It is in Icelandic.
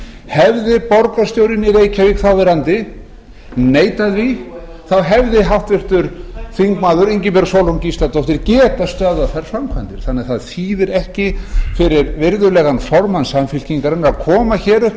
hefði borgarstjórinn í reykjavík þáverandi neitað því þá hefði háttvirtur þingmaður ingibjörg sólrún gísladóttir getað stöðvað þær framkvæmdir þannig að það þýðir ekki fyrir virðulegan formann samfylkingarinnar að koma hér upp